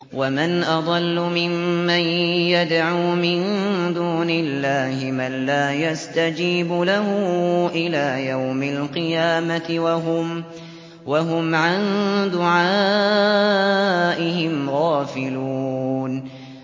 وَمَنْ أَضَلُّ مِمَّن يَدْعُو مِن دُونِ اللَّهِ مَن لَّا يَسْتَجِيبُ لَهُ إِلَىٰ يَوْمِ الْقِيَامَةِ وَهُمْ عَن دُعَائِهِمْ غَافِلُونَ